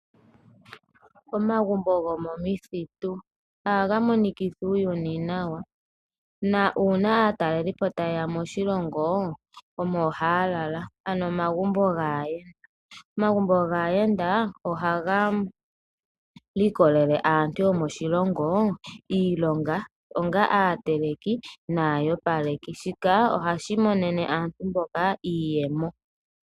Omagumbo gomomithitu ohaga monikitha uuyuni nawa nuuna aatalelipo taye ya moshilongo omo haya lala, ano omagumbo gaayenda. Omagumbo gaayenda ohaga pe aantu yomoshilongo iilonga onga aateleki naaopaleki. Shika ohashi monene aantu mboka iiyemo.